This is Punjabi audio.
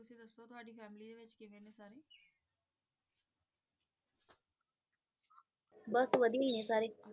ਬਸ ਵਾਦੀਆਂਹ ਹੈ ਹੈਂ ਸਾਰੇ